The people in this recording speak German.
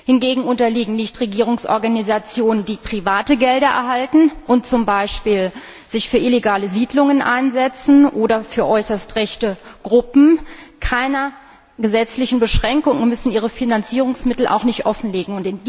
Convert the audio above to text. Hingegen unterliegen Nichtregierungsorganisationen, die private Gelder erhalten und sich zum Beispiel für illegale Siedlungen einsetzen, oder äußerst rechte Gruppen keiner gesetzlichen Beschränkung, und sie müssen ihre Finanzierungsmittel auch nicht offenlegen.